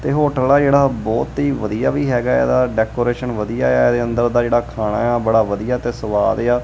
ਇਹ ਹੋਟਲ ਆ ਜਿਹੜਾ ਬਹੁਤ ਹੀ ਵਧੀਆ ਵੀ ਹੈਗਾ ਇਹਦਾ ਡੈਕੋਰੇਸ਼ਨ ਵਧੀਆ ਆ ਇਹਦੇ ਅੰਦਰ ਦਾ ਜਿਹੜਾ ਖਾਣਾ ਆ ਬੜਾ ਵਧੀਆ ਤੇ ਸਵਾਦ ਆ।